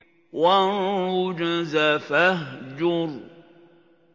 وَالرُّجْزَ فَاهْجُرْ